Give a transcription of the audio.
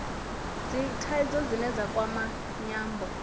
dzithaidzo dzine dza kwama nyambo